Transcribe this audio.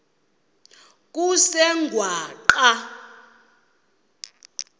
kusengwaqa